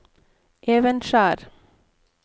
Evenskjer